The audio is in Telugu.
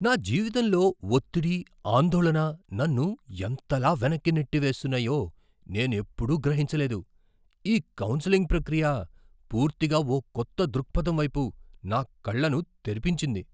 నా జీవితంలో ఒత్తిడి, ఆందోళన నన్ను ఎంతలా వెనక్కి నెట్టివేస్తున్నాయో నేనెప్పుడూ గ్రహించలేదు. ఈ కౌన్సెలింగ్ ప్రక్రియ పూర్తిగా ఓ కొత్త దృక్పథం వైపు నా కళ్ళను తెరిపించింది!